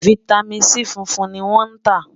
fìtámín C fúnfún ní wón tá